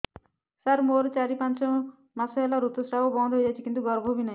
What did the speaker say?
ସାର ମୋର ଚାରି ପାଞ୍ଚ ମାସ ହେଲା ଋତୁସ୍ରାବ ବନ୍ଦ ହେଇଯାଇଛି କିନ୍ତୁ ଗର୍ଭ ବି ନାହିଁ